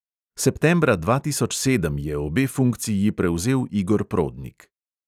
Septembra dva tisoč sedem je obe funkciji prevzel igor prodnik.